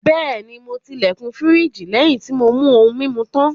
Bẹ́ẹ̀ni, mo ti ilẹ̀kùn firiji lẹ́yìn tí mo mú ohun-mímu tán.